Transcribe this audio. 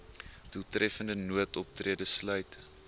doeltreffende noodoptrede sluit